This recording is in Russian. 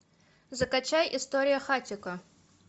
закачай история хатико